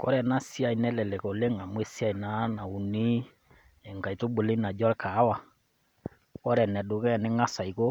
Kore ena siai nelelek oleng amu esiai naa nauni enkaitubului naji olkahawa, ore enedukuya ning'as aiko